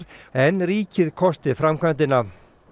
en ríkið kosti framkvæmdina